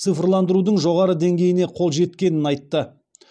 цифрландырудың жоғары деңгейіне қол жеткенін айтты